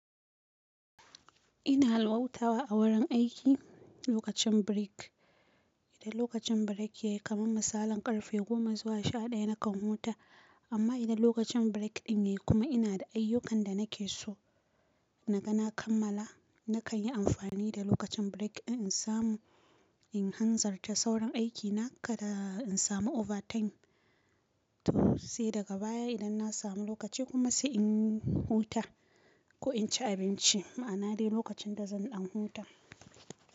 Ina halhutawa a wurin aiki lokacin break. Idan lokacin break ya yi, kamar misalin ƙarfe goma zuwa sha ɗaya nakan huta. Amma idan lokacin break ɗin ya yi kuma ina da ayyukan da nake so na ga na kammala, nakan yi amfani da lokacin break in samu in hanzarta sauran aiki na kada in samu overtime. To sai daga baya idan na samu lokaci kuma sai in huta ko in ci abinci. Ma'ana de lokacin da zan ɗan huta.